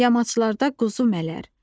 Yamaçlarda quzu mərər,